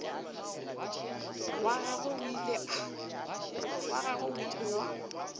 wa gagwe o ile wa